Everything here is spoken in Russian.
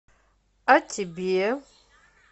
а тебе